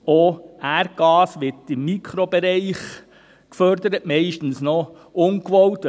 Auch Erdgas wird nur im Mikrobereich gefördert, meistens ungewollt.